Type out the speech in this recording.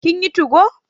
kin yi 2go?